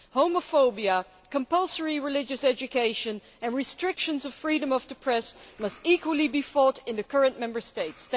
Homophobia, compulsory religious education and restrictions of freedom of the press must equally be fought in the current Member States.